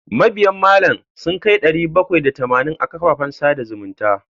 Mabiyna malam sun kai ɗari bakwai da tamanin a kafafen sada zumunta.